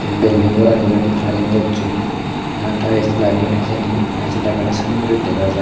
ei bilidng goran iben klaring gosson na taels lageyon hijeni tales lageyonney sanney guri dega jar.